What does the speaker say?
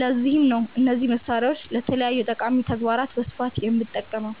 ለዚህም ነው እነዚህን መሳሪያዎች ለተለያዩ ጠቃሚ ተግባራት በስፋት የምጠቀመው።